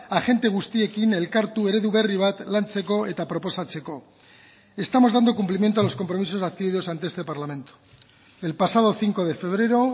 agente guztiekin elkartu eredu berri bat lantzeko eta proposatzeko estamos dando cumplimiento a los compromisos adquiridos ante este parlamento el pasado cinco de febrero